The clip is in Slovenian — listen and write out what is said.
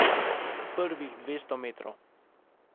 Prvih dvesto metrov.